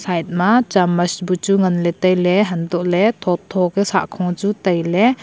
side ma chammach buchu nganley tailey untohley tho tho ku sahkho chu tailey.